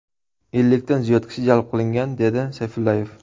Ellikdan ziyod kishi jalb qilingan”, dedi Sayfullayev.